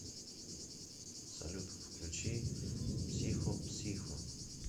салют включи психо п с и х о